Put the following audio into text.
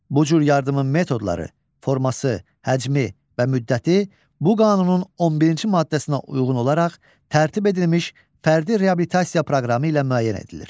Bu cür yardımın metodları, forması, həcmi və müddəti bu qanunun 11-ci maddəsinə uyğun olaraq tərtib edilmiş fərdi reabilitasiya proqramı ilə müəyyən edilir.